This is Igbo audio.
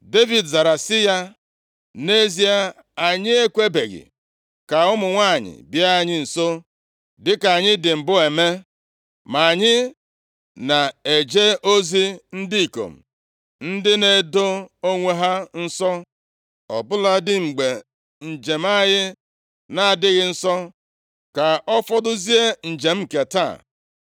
Devid zara sị ya, “Nʼezie, anyị ekwebeghị ka ụmụ nwanyị bịa anyị nso, dịka anyị dị mbụ eme ma anyị na-eje ozi. Ndị ikom ndị a na-edo onwe ha nsọ ọ bụladị mgbe njem anyị na-adịghị nsọ ka ọfọdụzie njem nke taa.”